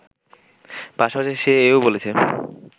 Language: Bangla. পাশাপাশি সে এও বলেছে